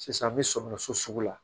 Sisan an bɛ sɔmin so sugu la